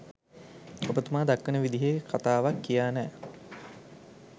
ඔබ තුමා දක්වන විදිහේ කතාවක් කියා නෑ.